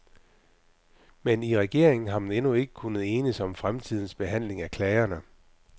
Men i regeringen har man endnu ikke kunnet enes om fremtidens behandling af klagerne.